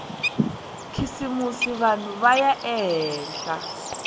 khisimusi vanhu va ya ehenhla